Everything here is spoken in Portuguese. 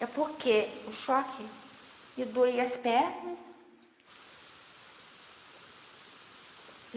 É porque o choque me doía as pernas.